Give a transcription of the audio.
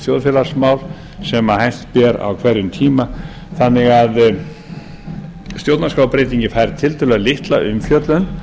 þjóðfélagsmál sem hæst ber á hverjum tíma þannig að stjórnarskrárbreyting fær tiltölulega litla umfjöllun